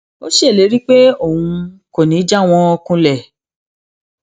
ó ṣèlérí pé òun kò ní í já wọn kulẹ